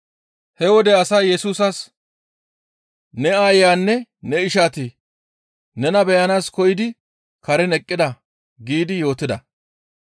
He wode asay Yesusas, «Ne aayeyanne ne ishati nena beyanaas koyidi karen eqqida» giidi yootida.